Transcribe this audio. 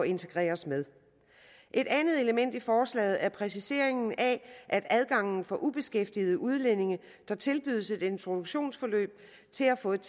integreres med et andet element i forslaget er præciseringen af at adgangen for ubeskæftigede udlændinge der tilbydes et introduktionsforløb til at få et